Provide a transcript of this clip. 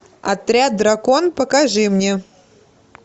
отряд дракон покажи мне